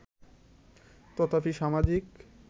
তথাপি সামাজিক